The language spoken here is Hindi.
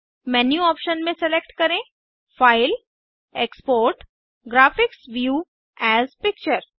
मेन्यू ऑप्शन में सेलेक्ट करें file GT export GT graphics view as picture